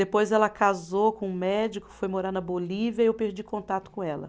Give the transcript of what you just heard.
Depois ela casou com um médico, foi morar na Bolívia e eu perdi contato com ela.